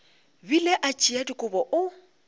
bile a tšea dikobo o